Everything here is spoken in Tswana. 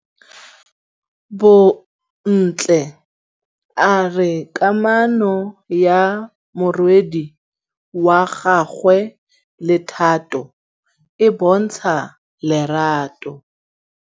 Bontle a re kamanô ya morwadi wa gagwe le Thato e bontsha lerato.